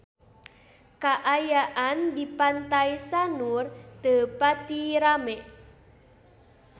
Kaayaan di Pantai Sanur teu pati rame